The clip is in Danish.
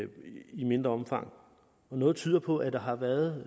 i mindre omfang og noget tyder på at der har været